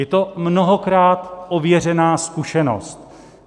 Je to mnohokrát ověřená zkušenost.